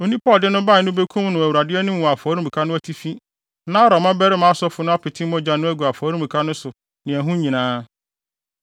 Onipa a ɔde no bae no bekum no Awurade anim wɔ afɔremuka no atifi na Aaron mmabarima asɔfo no apete mogya no agu afɔremuka no so ne ɛho nyinaa.